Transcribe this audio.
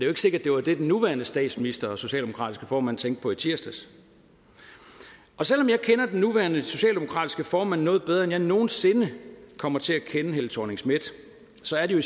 ikke sikkert det var det den nuværende statsminister og socialdemokratiske formand tænkte på i tirsdags selv om jeg kender den nuværende socialdemokratiske formand noget bedre end jeg nogen sinde kommer til at kende helle thorning schmidt så er det jo